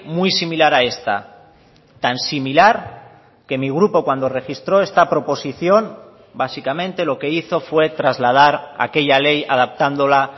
muy similar a esta tan similar que mi grupo cuando registró esta proposición básicamente lo que hizo fue trasladar aquella ley adaptándola